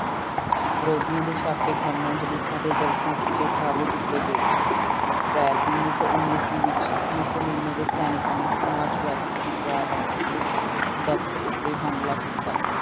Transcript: ਵਿਰੋਧੀਆਂ ਦੇ ਛਾਪੇਖਾਨਿਆਂ ਜਲੂਸਾਂ ਤੇ ਜਲਸਿਆਂ ਉੱਤੇ ਧਾਵੇ ਕੀਤੇ ਗਏ, ਅਪ੍ਰੈਲ ਉੱਨੀ ਸੌ ਉੱਨੀ ਈਸਵੀ ਵਿੱਚ ਮੁਸੋਲੀਨੋ ਦੇ ਸੈਨਿਕਾਂ ਨੇ ਸਮਾਜਵਾਦੀ ਅਖ਼ਬਾਰਾਂ ਦੇ ਦਫ਼ਤਰ ਉੱਤੇ ਹਮਲਾ ਕੀਤਾ।